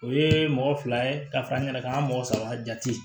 O ye mɔgɔ fila ye ka fara n yɛrɛ kan ka mɔgɔ saba jate